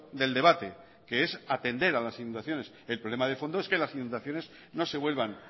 del debate que es atender a las inundaciones el problema de fondo es que las inundaciones no se vuelvan